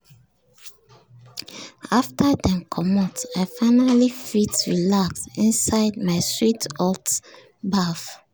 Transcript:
after dem comot i finally fit relax inside my sweet hot baff.